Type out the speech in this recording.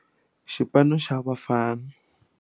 Xipano xa Bafana.